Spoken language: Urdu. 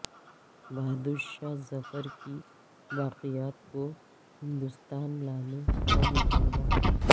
بہادر شاہ ظفرکی باقیات کو ہندوستان لانے کا مطالبہ